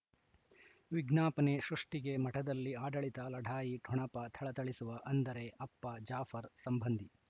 ವಿಜ್ಞಾಪನೆ ಸೃಷ್ಟಿಗೆ ಮಠದಲ್ಲಿ ಆಡಳಿತ ಲಢಾಯಿ ಠೊಣಪ ಥಳಥಳಿಸುವ ಅಂದರೆ ಅಪ್ಪ ಜಾಫರ್ ಸಂಬಂಧಿ